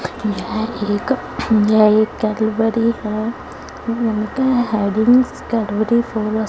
यह एक यह एक कैडबरी है कैडबरी